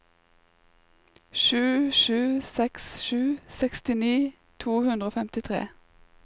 sju sju seks sju sekstini to hundre og femtitre